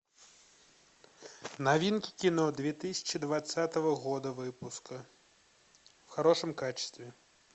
новинки кино две тысячи двадцатого года выпуска в хорошем качестве